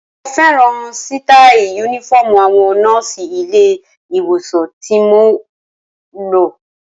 Mo fẹ́ràn sítáì Únífọ́ọ̀mù àwọn nọ́ọ̀sì ilé-ìwòsàn tí mo lọ